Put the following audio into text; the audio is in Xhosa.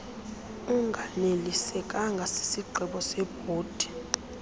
unganelisekanga sisigqibo sebhodi